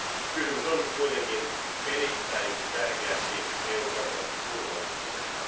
Kysymys on kuitenkin erittäin tärkeästi EU kansalaisten turvallisuudesta.